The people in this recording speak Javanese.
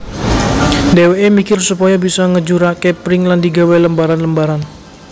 Dheweke mikir supaya bisa ngejurake pring lan digawé lembaran lembaran